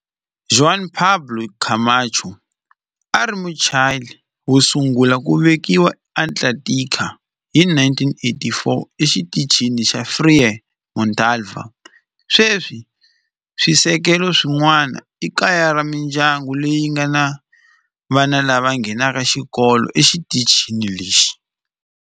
Juan Pablo Camacho a a ri Muchile wo sungula ku velekiwa eAntarctica hi 1984 eXitichini xa Frei Montalva. Sweswi swisekelo swin'wana i kaya ra mindyangu leyi nga ni vana lava nghenaka xikolo exitichini lexi.